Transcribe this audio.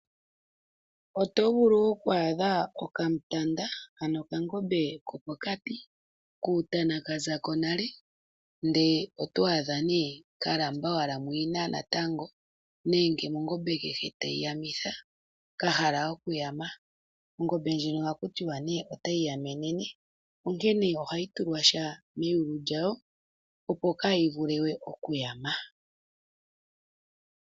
Oto vulu oku adha okamutanda, ano okangombe kopokati, kuutana ka za ko nale, ihe oto adha ka lamba owala muyina natango nenge mongombe kehe tayi yamitha ka hala okuyama. Ongombe ndjika ohaku tiwa nduno otayi yaminine, onkene ohayi tulwa sha meyulu lyawo, opo kaayi vule we okuyama.